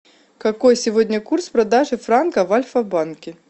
какой сегодня курс продажи франка в альфа банке